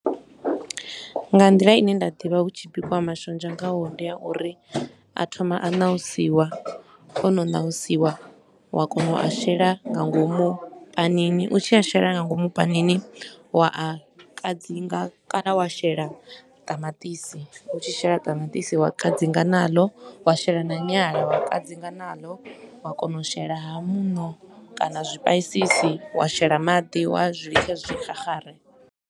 Nga nḓila i ne nda ḓivha hu tshi bikiwa mashonzha ngaho, ndi ya uri a thoma a nausiwa, o no nausiwa wa kona u a shela nga ngomu panini. U tshi a shela nga ngomu panini, wa a kadzinga kana wa shela ṱamaṱisi. U tshi shela ṱamaṱisi, wa kadzinga nalo, wa shela na nyala wa kadzinga nalo, wa kona u shela haa muṋo kana zwi paisisi, wa shela maḓi wa zwi litsha zwi xaxare.